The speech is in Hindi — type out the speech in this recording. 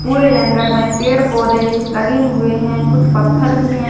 पूरे जंगल में पेड़ पौधे लगे हुए हैं कुछ पत्थर भी हैं।